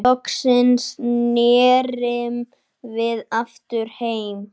Loksins snerum við aftur heim.